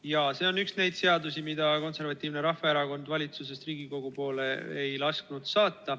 Jaa, see on üks neid seadusi, mida Eesti Konservatiivne Rahvaerakond valitsusest Riigikogu poole saata ei lasknud.